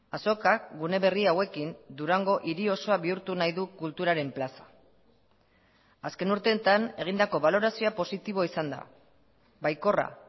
azokak gune berri hauekin durango hiri osoa bihurtu nahi du kulturaren plaza azken urteetan egindako balorazioa positiboa izan da baikorra